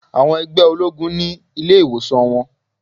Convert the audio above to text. Àwọn ẹgbẹ́ ológun ni ilé ìwòsàn wọn.